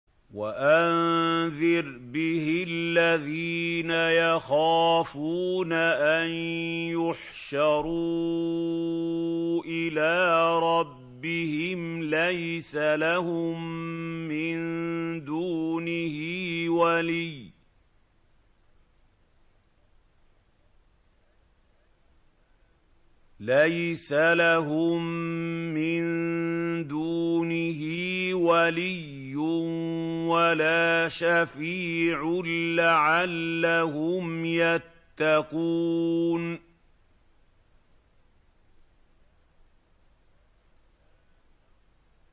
وَأَنذِرْ بِهِ الَّذِينَ يَخَافُونَ أَن يُحْشَرُوا إِلَىٰ رَبِّهِمْ ۙ لَيْسَ لَهُم مِّن دُونِهِ وَلِيٌّ وَلَا شَفِيعٌ لَّعَلَّهُمْ يَتَّقُونَ